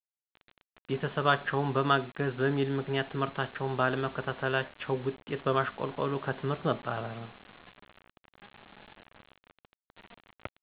ቤተሰባቸውን በማገዝ በሚል ምክንያት ትምህርታቸውን ባለመከታታለቸው ውጤት በማሸቆልቆሉ ከትምህርት መባረር።